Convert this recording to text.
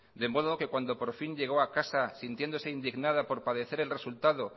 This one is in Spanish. de modo que cuando por fin llegó a casa sintiéndose indignada por padecer el resultado